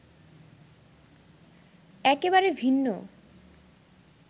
একেবারে ভিন্ন